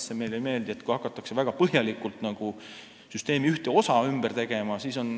Esiteks, meile ei meeldi, kui hakatakse väga põhjalikult süsteemi ühte osa ümber tegema.